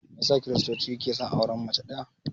Meyasa kiristoci ke son auren mace ɗaya?